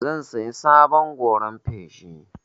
Zan saya sabon goran feshi.